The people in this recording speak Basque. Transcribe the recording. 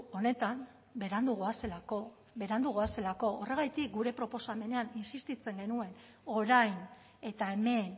honetan berandu goazelako berandu goazelako horregatik gure proposamenean insistitzen genuen orain eta hemen